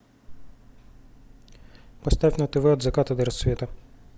поставь на тв от заката до рассвета